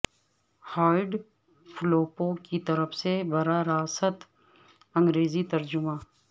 hide Flippo کی طرف سے براہ راست انگریزی ترجمہ